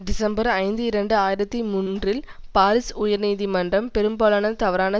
December ஐந்து இரண்டு ஆயிரத்தி மூன்றில் பாரிஸ் உயர்நீதிமன்றம் பெரும்பாலான தவறான